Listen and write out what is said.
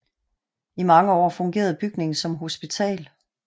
I mange år fungerede bygningen som hospital